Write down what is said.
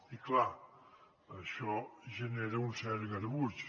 i clar això genera un cert garbuix